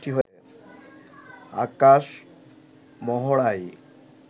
আকাশ মহড়ায়